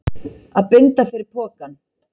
Að binda fyrir pokann